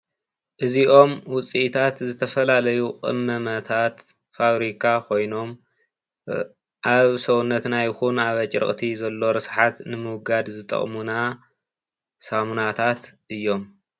እዚኦም ውፅኢታት ዝተፈላለዩ ቅመማታት ፋብሪካ ኾይኖም አብ ሰውነትና ይኩን አብ ኣጭርቅቲ ዘሎ ርስሓት ንምውጋድ ዝጠቁሙና ሳሙናታት እዮሞ።